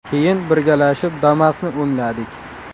Keyin birgalashib Damas’ni o‘ngladik.